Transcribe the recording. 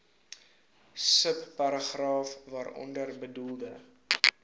subparagraaf waaronder bedoelde